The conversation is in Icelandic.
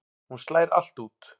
Hún slær allt út.